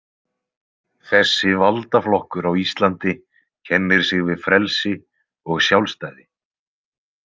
Þessi valdaflokkur á Íslandi kennir sig við frelsi og sjálfstæði.